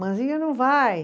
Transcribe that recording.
Manzinha não vai.